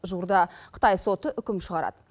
жуырда қытай соты үкім шығарады